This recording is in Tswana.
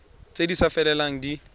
tse di sa felelang di